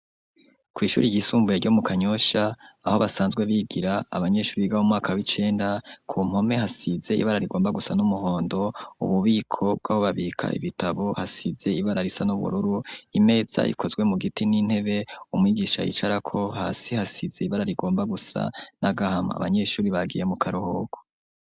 Kw'ishure ryisumbuye ryo mu Kanyosha aho basanzwe bigira abanyeshure Biga umwaka w'icenda, ku mpome hasize ibara rigomba gusa n'umuhondo ububiko bw'aho babika ibitabo hasize ibara risa n'ubururu, imeza ikozwe mu giti n'intebe, umwigisha yicarako hasi hasize ibara rigomba gusa n'agahama abanyeshure bagiye mu karuhuko.